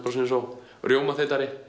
eins og